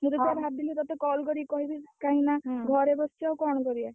ମୁଁ ତ ସେଇଆ ଭାବିଲି ତତେ call କରିକି କହିବି, କାହିଁକିନା ଘରେ ବସି ଆଉ କଣ କରିଆ?